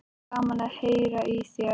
En gaman að heyra í þér.